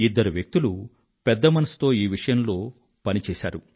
ఇద్దరు వ్యక్తులు పెద్ద మనసుతో ఈ విషయంలో పని చేశారు